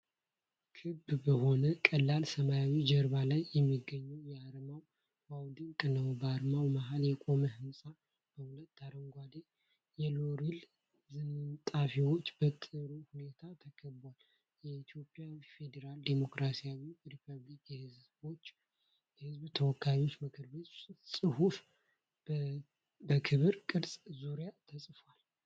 ክብ በሆነ ቀላል ሰማያዊ ጀርባ ላይ የሚገኘው አርማው ዋው ድንቅ ነው! በአርማው መሃል የቆመ ህንፃ በሁለት አረንጓዴ የሎሬል ዝንጣፊዎች በጥሩ ሁኔታ ተከቧል። የኢትዮጵያ ፌዴራላዊ ዲሞክራሲያዊ ሪፐብሊክ የሕዝብ ተወካዮች ምክር ቤት ጽሑፍ በክብ ቅርጹ ዙሪያ ተጽፏል።